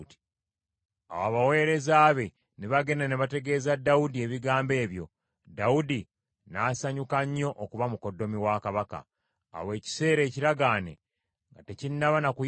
Awo abaweereza be ne bagenda ne bategeeza Dawudi ebigambo ebyo, Dawudi n’asanyuka nnyo okuba mukoddomi wa kabaka. Awo ekiseera ekiragaane nga tekinnaba na kuyitawo,